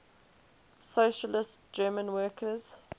socialist german workers